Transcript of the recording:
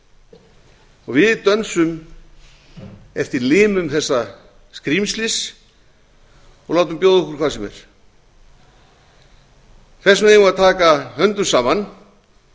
og við dönsum eftir limum þessa skrímslis og látum bjóða okkur hvað sem er þess vegna eigum við að taka höndum saman